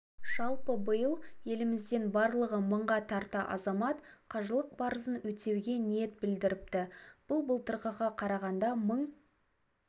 жалпы биыл елімізден барлығы мыңға тарта азамат қажылық парызын өтеуге ниет білдіріпті бұл былтырғыға қарағанда мың